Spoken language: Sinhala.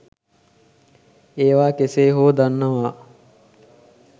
ඒවා කෙසේ හෝ දන්නවා